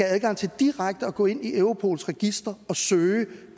adgang til direkte at gå ind i europols registre og søge